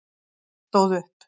Lilla stóð upp.